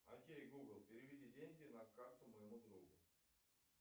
окей гугл переведи деньги на карту моему другу